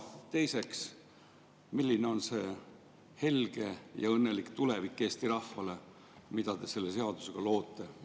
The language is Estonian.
Teiseks, milline on see Eesti rahva helge ja õnnelik tulevik, mida te selle seadusega loote?